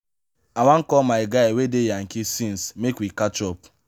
i wan call my guy wey dey yankee since make we catch up.